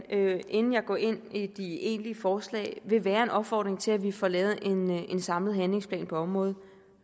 inden jeg går ind i de egentlige forslag vil være en opfordring til at vi får lavet en samlet handlingsplan på området